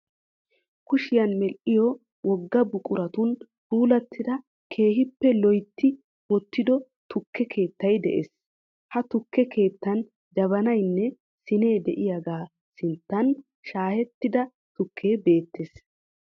Kushiyan medhdhiyo wogaa buquratun puulattida keehippe loyitti wottido tukke keettay de'ees. He tukke keettaan jabanaynne siinee diyaagaa sinttan shaayettida tukkee beettees